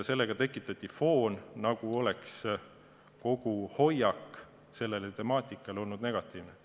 Tekitati foon, nagu oleks kogu hoiak selle temaatika suhtes olnud negatiivne.